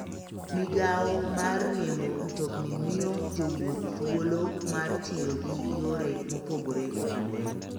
Migawo mar riembo mtokni miyo jowuoth thuolo mar tiyo gi yore mopogore opogore.